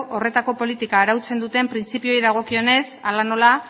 horretako politika arautzen duten printzipioei dagokionez hala nola